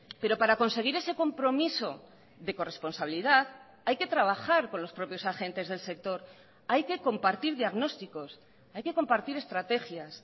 pero para conseguir ese compromiso de corresponsabilidad hay que trabajar con los propios agentes del sector hay que compartir diagnósticos hay que compartir estrategias